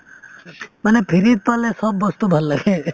মানে free ত পালে চব বস্তু ভাল লাগে